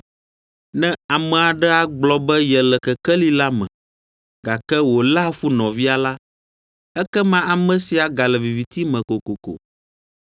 Ne ame aɖe agblɔ be yele kekeli la me, gake wòléa fu nɔvia la, ekema ame sia gale viviti me kokoko.